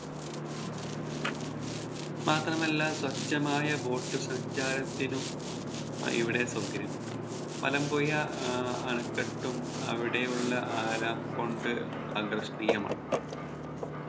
മാത്രമല്ല സ്വച്ഛമായ Boat സഞ്ചാരത്തിനും അഹ് ഇവിടെ സൗകര്യമുണ്ട് മലമ്പുഴ ആഹ് അണക്കെട്ടും അവിടെയുള്ള കൊണ്ട് ആകർഷണീയമാണ്